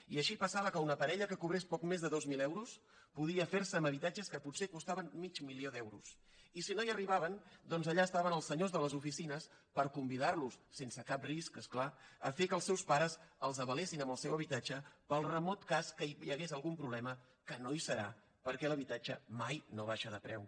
i així passava que una parella que cobrés poc més de dos mil euros podia ferse amb habitatges que potser costaven mig milió d’euros i si no hi arribaven doncs allà estaven els senyors de les oficines per convidarlos sense cap risc és clar a fer que els seus pares els avalessin amb el seu habitatge pel remot cas que hi hagués algun problema que no hi serà perquè l’habitatge mai no baixa de preu